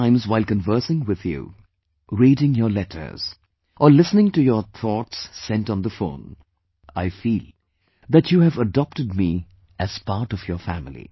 Many times while conversing with you, reading your letters or listening to your thoughts sent on the phone, I feel that you have adopted me as part of your family